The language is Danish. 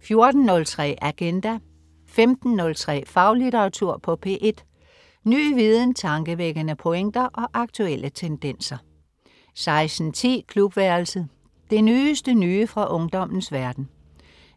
14.03 Agenda 15.03 Faglitteratur på P1. Ny viden, tankevækkende pointer og aktuelle tendenser 16.10 Klubværelset. Det nyeste nye fra ungdommens verden